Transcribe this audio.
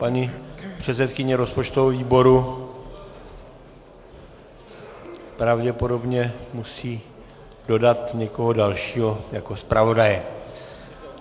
Paní předsedkyně rozpočtového výboru pravděpodobně musí dodat někoho dalšího jako zpravodaje.